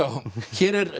hér er